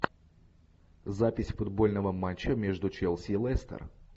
запись футбольного матча между челси и лестер